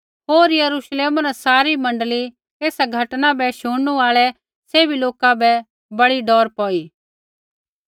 होर यरूश्लेमा न सारी मण्डली होर एसा घटना न बै शुणनू आल़ै सैभी लोका बै बड़ी डौर पौई